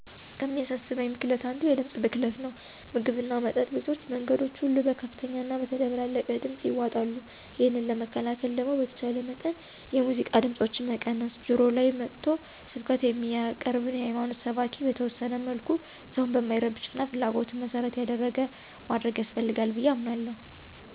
ከሚያሳስበኝ ብክለት አንዱ የድምፅ ብክለት ነው። ምግብና መጠጥ ቤቶች መንገዶች ሁሉ በከፍተኛና በተደበላለቀ ድምፅ ይዋጣሉ። ይህንን ለመከላከል ደግሞ በተቻለ መጠን የሙዚቃ ድምፆችን መቀነስ፣ ጆሮ ላይ መጥቶ ስብከት የሚያቀርብን የሀይማኖት ሰባኪ በተወሰነ መልኩ ሰውን በማይረብሽና ፍላጎትን መሰረት ያደረገ ማድረግ ያስፈልጋል ብዬ አምናለሁ።